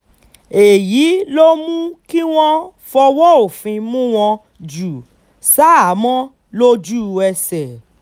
èyí ló mú kí wọ́n fọwọ́ òfin mú wọn jù ṣahámọ́ lójú-ẹsẹ̀